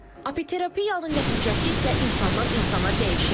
Apiterapiyanın nəticəsi isə insandan insana dəyişir.